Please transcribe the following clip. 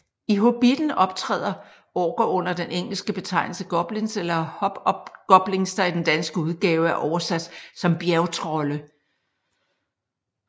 I Hobitten optræder orker under den engelske betegnelse goblins eller hobgoblins der i den danske udgave er oversat som bjergtrolde